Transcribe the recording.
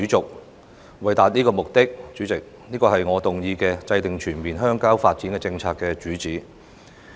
主席，為了達到這個目的，這便是我今次動議"制訂全面鄉郊發展政策"議案的主旨。